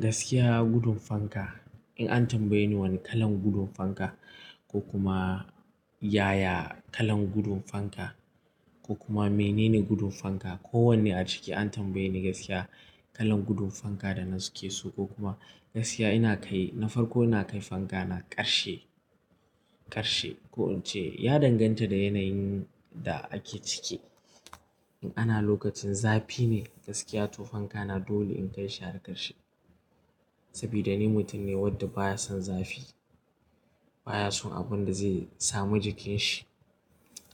Gaskiya gudun fanka, in an tambaye ni wane kalan gudun fanka ko kuma yaya kalan gudun fanka ko kuma menene gudun fanka. Ko wanne a ciki an tambaye ni gaskiya kalan gudun fanka da na suke so ko kuma gaskiya ina kai na farko ina kai fanka na ƙarshe, ƙarshe. Ko in ce ya danganta da yanayin da ake ciki. In ana lokacin zafi ne gaskiya to fanka na dole in kai shi har ƙarshe. Saboda ni mutum ne wanda baya son zafi, baya son abun da zai samu jikin shi.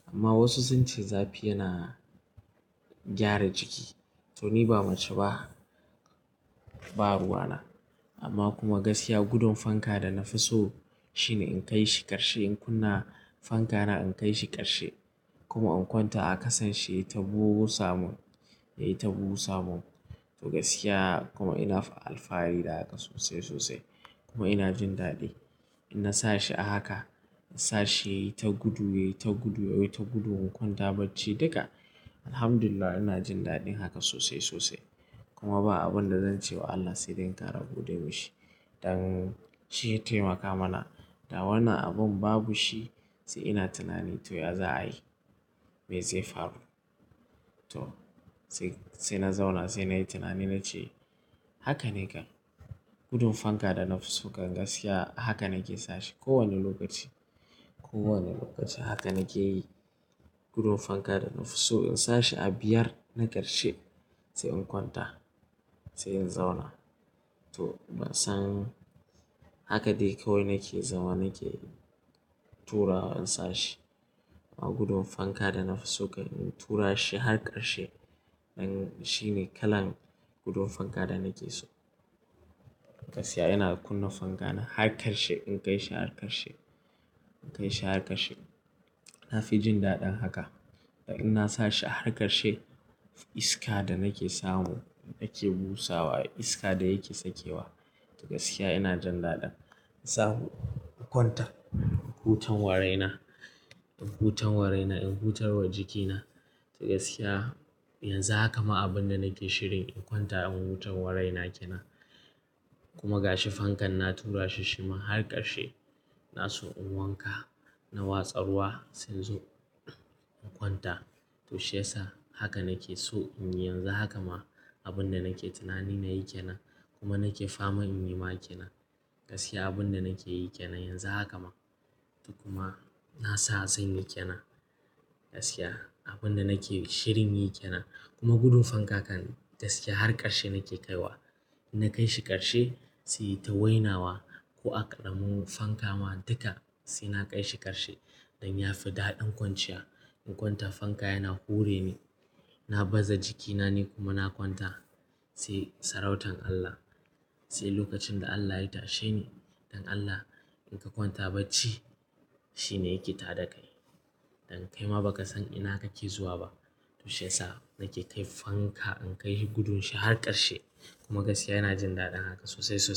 Amma wasu sun ce zafi yana gyara jiki. To ni ba mace ba, ba ruwa na. Amma kuma gaskiya gudun fanka da na fi so shine in kai shi ƙarshe. In kunna fanka na in kai shi ƙarshe kuma in kwanta a ƙasan shi ya yi taɓuwo samun, ya yi taɓuwo samun. To gaskiya kuma ina fa alfahari da haka sosai, sosai kuma ina jin daɗi. In na sa shi a haka, na sa shi ya yi ta gudu, ya yi ta gudu, ya yi ta gudu in kwanta bacci duka. Alhamdulillah ina jin daɗin haka sosai, sosai. Kuma ba abun da zan ce wa Allah sai dinga rabude shi don shi ya taimaka mana. Da wannan abun babu shi sai ina tunani to ya za a yi? Me zai faru? To sai, sai na zauna, sai na yi tunani na ce haka ne kan gudun fanka da na fi so kan gaskiya haka nake sashi kowane lokaci. Ko wane lokaci haka nake yi. Gudun fanka da na fi so in sa shi a biyar na ƙarshe sai in kwanta, sai in zauna. To ban san haka dai kawai nake zama nake turawa in sa shi. Amma gudun fanka da na fi so in tura shi har ƙarshe. Nan shine kalan gudun fanka da nake so. Gaskiya ina kunna fanka na har ƙarshe. In kai shi har ƙarshe, in kai shi har ƙarshe. Na fi jin daɗin haka. Da in na sa shi har ƙarshe, iska da nake samu, inda yake busawa, iska da yake sakewa. To gaskiya ina jin daɗin in samu in kwanta. In huta waraina, in huta waraina, in hutar wa jikina. To gaskiya yanzu haka ma abun da nake shirin in kwanta in hutar waraina kenan. Kuma ga shi fankan na tura shi shima har ƙarshe. Na so in wanka, na watsa ruwa sai in zo in kwanta. To shii yasa haka nake so in yi yanzu. Haka ma abun da nake tunani na yi kenan kuma nake fama in yi ma kenan. Gaskiya abin da nake yi kenan yanzu haka ma. To kuma na sa zan yi kenan. Gaskiya abin da nake shirin yi kenan kuma gudun fanka kan gaskiya har ƙarshe nake kai wa. In na kai shi ƙarshe sai ya yi ta wainawa. Ko a ƙaramin fanka ma duka sai na kai shi ƙarshe don ya fi daɗin kwanciya. In kwanta fanka yana hure ni, na baza jikina ne kuma na kwanta. Sai sarautar Allah, sai lokacin da Allah ya tashe ni. Don Allah in ka kwanta bacci shi ne yake tada kai. Don kai ma ba ka san ina kake zuwa ba. To shii yasa nake kai fanka in kai gudun shi har ƙarshe kuma gaskiya ina jin daɗin haka sosai, sosai.